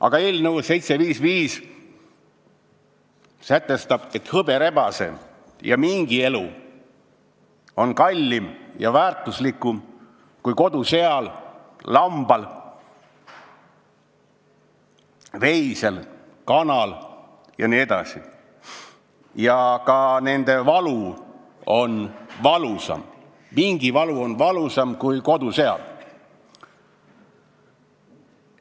Aga eelnõu 755 sätestab, et hõberebase ja mingi elu on kallim ja väärtuslikum kui kodusea, lamba, veise, kana jne elu ning ka nende valu on valusam, mingi valu on valusam kui kodusea valu.